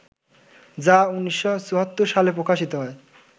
যা ১৯৭৪ সালে প্রকাশিত হয়